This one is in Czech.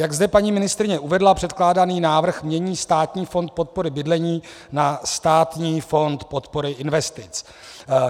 Jak zde paní ministryně uvedla, předkládaný návrh mění Státního fond podpory bydlení na Státního fond podpory investic.